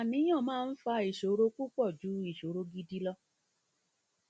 àníyàn máa ń fa ìṣòro púpọ ju ìṣòro gidi lọ